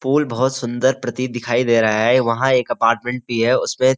pool बहुत सुंदर प्रतित दिखाई दे रहा है वहाँ एक अपार्टमेंट भी है उसमें --